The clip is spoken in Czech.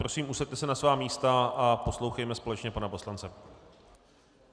Prosím, usaďte se na svá místa a poslouchejme společně pana poslance.